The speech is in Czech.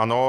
Ano.